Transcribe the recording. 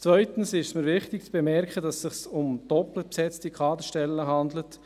Zweitens ist es mir wichtig, zu bemerken, dass es sich um doppelt besetzte Kaderstellen handelt.